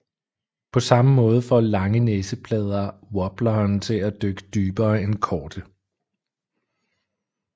På samme måde får lange næseplader wobleren til at dykke dybere end korte